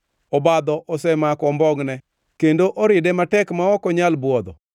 Obadho osemako ombongʼne; kendo oride matek ma ok onyal bwodho.